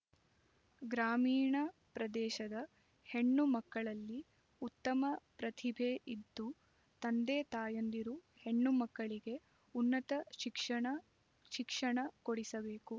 ಗ್ರಾಮೀಣ ಪ್ರದೇಶದ ಹೆಣ್ಣು ಮಕ್ಕಳಲ್ಲಿ ಉತ್ತಮ ಪ್ರತಿಭೆ ಇದ್ದು ತಂದೆ ತಾಯಂದಿರು ಹೆಣ್ಣು ಮಗಳಿಗೆ ಉನ್ನತ ಶಿಕ್ಷಣ ಶಿಕ್ಷಣ ಕೊಡಿಸಬೇಕು